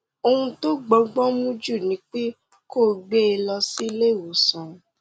ohun tó bọgbọn mu jù ni pé kó o gbé e lọ sí ilé ìwòsàn